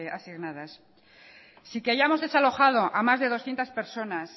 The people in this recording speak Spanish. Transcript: asignadas sin que hayamos desalojado a más de doscientos personas